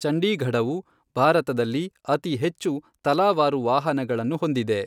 ಚಂಡೀಗಢವು, ಭಾರತದಲ್ಲಿ ಅತಿ ಹೆಚ್ಚು ತಲಾವಾರು ವಾಹನಗಳನ್ನು ಹೊಂದಿದೆ.